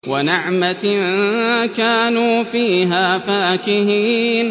وَنَعْمَةٍ كَانُوا فِيهَا فَاكِهِينَ